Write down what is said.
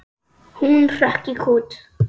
Hún hrökk í kút.